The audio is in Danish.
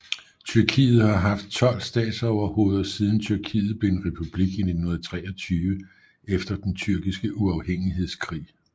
Tyrkiet har haft 12 statsoverhoveder siden Tyrkiet blev en republik i 1923 efter den Tyrkiske uafhængighedskrig